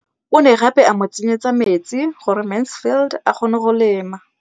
O ne gape a mo tsenyetsa metsi gore Mansfield a kgone go lema.